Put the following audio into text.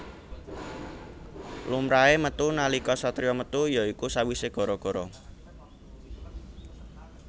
Lumrahé metu nalika satriya metu ya iku sawisé gara gara